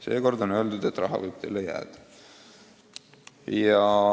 Seekord on öeldud, et raha võib teile jääda.